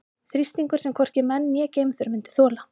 Þrýstingur sem hvorki menn né geimför myndu þola.